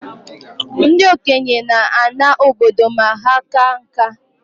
Ndị okenye na-ana obodo ma ha kaa nka